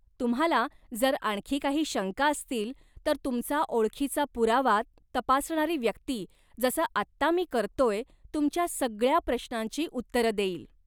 तुम्हाला जर आणखी काही शंका असतील, तर तुमचा ओळखीचा पुरावा तपासणारी व्यक्ती, जसं आत्ता मी करतोय, तुमच्या सगळ्या प्रश्नांची उत्तरं देईल.